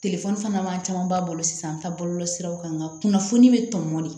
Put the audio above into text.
fana man camanba bolo sisan bɔlɔlɔsiraw kan nka kunnafoni bɛ tɔn ne